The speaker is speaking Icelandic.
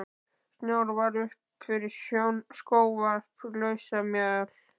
Snjór var upp fyrir skóvarp, lausamjöll.